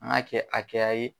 An ka kɛ a hakɛya ye.